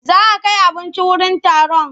Za a kai abinci wurin taron.